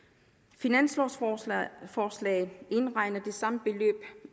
finanslovforslaget indregner det samme beløb